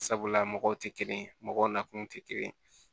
Sabula mɔgɔw tɛ kelen mɔgɔw nakun tɛ kelen ye